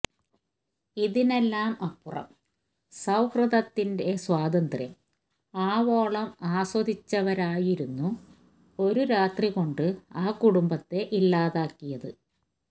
ഇതിനെല്ലാം അപ്പുറം സൌഹൃദത്തിന്റെ സ്വാതന്ത്ര്യം ആവോളം ആസ്വദിച്ചവരായിരുന്നു ഒരു രാത്രികൊണ്ട് ആ കുടുംബത്തെ ഇല്ലാതാക്കിയത്